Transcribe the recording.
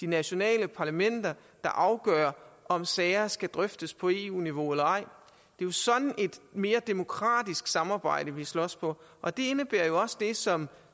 nationale parlamenter der afgør om sager skal drøftes på eu niveau eller ej det er sådan et mere demokratisk samarbejde vi slås for og det indebærer jo også det som